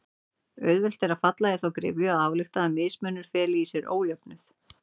Auðvelt er að falla í þá gryfju að álykta að mismunur feli í sér ójöfnuð.